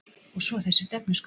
Og svo þessi stefnuskrá